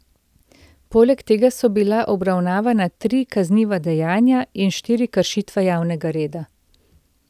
Poleg tega so bila obravnavana tri kazniva dejanja in štiri kršitve javnega reda.